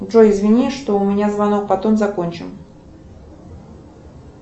джой извини что у меня звонок потом закончим